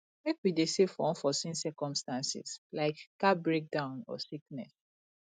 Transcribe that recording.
make we dey save for unforeseen circumstances like car breakdown or sickness